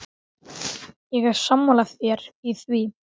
Ég er sammála þér í því.